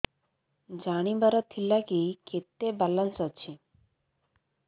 ଜାଣିବାର ଥିଲା କି କେତେ ବାଲାନ୍ସ ଅଛି